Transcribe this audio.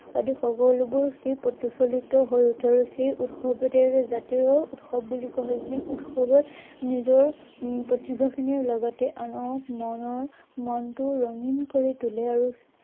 আদি সকলোবোৰ প্ৰতিফলিত হৈ উঠে আৰু সেই উৎসৱকে জাতীয় উৎসৱ বুলি কোৱা হয়। যি উৎসৱে নিজৰ প্ৰতিভাখিনিৰ লগতে আনৰ মনৰ মনটো ৰঙীন কৰি তুলে আৰু